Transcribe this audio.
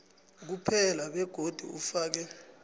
kuphela begodu ufake